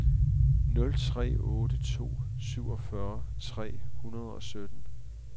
nul tre otte to syvogfyrre tre hundrede og sytten